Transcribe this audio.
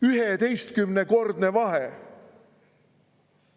11-kordne vahe!